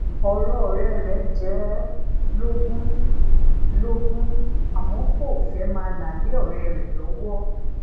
ọrò òré re jẹ e lógún lógún àmó kò fé máa la le òré rè lowo